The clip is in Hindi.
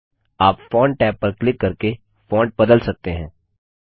आप फोंट टैब पर क्लिक करके फोंट बदल सकते हैं